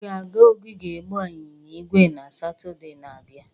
Ị ga-aga ogige ịgba ịnyịnya ígwè na Satọde na-abịa?